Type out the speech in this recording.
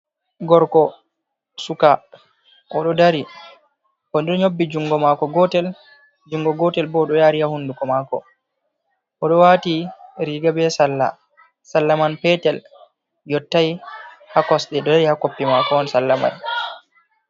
Gorko suka oɗo dari o ɗo nyobbi jungo mako gotel jungo gotel bo ɗo yari ya hunduko mako, o ɗo wati riga be salla, salla man petel yottai ha kosɗe ɗo dari ha koppi mako on salla mai.